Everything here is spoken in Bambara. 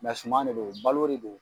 suman de don balo de don.